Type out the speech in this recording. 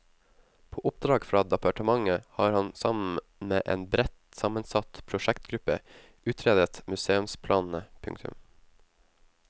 På oppdrag fra departementet har han sammen med en bredt sammensatt prosjektgruppe utredet museumsplanene. punktum